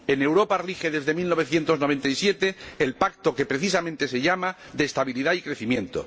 En Europa rige, desde 1997, el pacto que precisamente se llama de estabilidad y crecimiento.